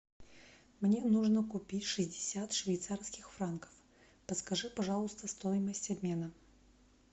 мне нужно купить шестьдесят швейцарских франков подскажи пожалуйста стоимость обмена